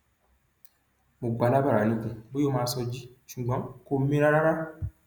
mo gbà á lábàrá níkùn bóyá ó máa sọjí ṣùgbọn kò mira rárá